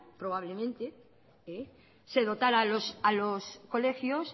probablemente se dotara a los colegios